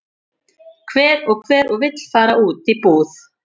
Hver og hver og vill fara út í búð?